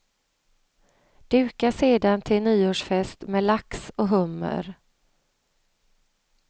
Duka sedan till nyårsfest med lax och hummer.